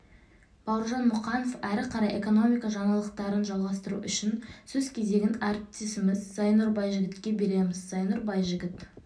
бауыржан мұқанов әрі қарай экономика жаңалықтарын жалғастыру үшін сөз кезегін әріптесіміз зайнұр байжігітке береміз зайнұр байжігіт